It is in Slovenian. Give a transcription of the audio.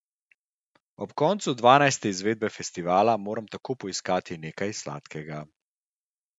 Ob koncu dvanajste izvedbe festivala moram tako poiskati nekaj sladkega.